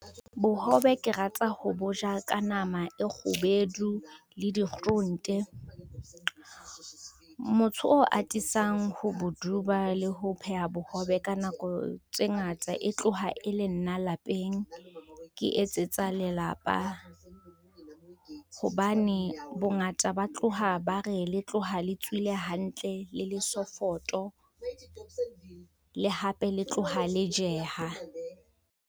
Bohobe ke rata ho bo ja ka nama e kgubedu le dikgurunte, motho o atisang ho bo duba le ho pheha bohobe ka nako tse ngata e tloha e le nna lapeng. Ke etsetsa lelapa, hobane bongata ba tloha ba re le tloha le tswile hantle, le le sofoto le hape le tloha le jeha.